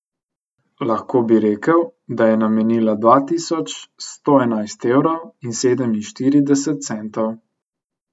Lahko bi rekel, da je namenila dva tisoč sto enajst evrov in sedeminštirideset centov.